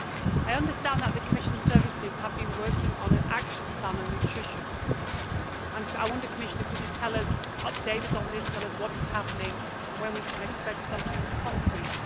I understand that the Commission services have been working on an action plan on nutrition, and I wonder, Commissioner, could you update us on this and tell us what is happening and when we can expect something concrete?